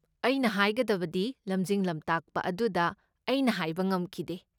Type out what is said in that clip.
ꯑꯩꯅ ꯍꯥꯏꯒꯗꯕꯗꯤ ꯂꯝꯖꯤꯡ ꯂꯝꯇꯥꯛꯄ ꯑꯗꯨꯗ ꯑꯩꯅ ꯍꯥꯏꯕ ꯉꯝꯈꯤꯗꯦ꯫